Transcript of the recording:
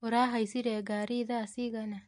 ũrahaicire ngari thaa cigana?